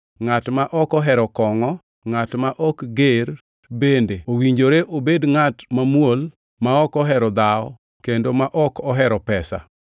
ngʼat ma ok ohero kongʼo, ngʼat ma ok ger, bende owinjore obed ngʼat mamuol, ma ok ohero dhawo kendo ma ok ohero pesa.